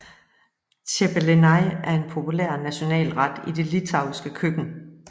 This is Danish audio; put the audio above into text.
Cepelinai er en populær national ret i det litauiske køkken